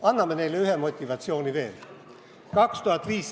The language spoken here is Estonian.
Anname neile ühe motivatsiooni veel!